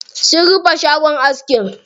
Sun rufe shagon askin.